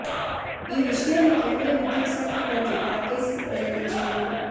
ఈ విషయాన్ని కేంద్ర విద్యుత్ శాఖ మంత్రి ఆర్కే సింగ్ వెల్లడించారు